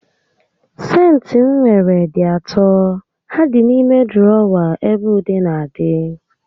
Sentị m nwere dị atọ, ha dị n'ime dụrọwa ebe ude n'adị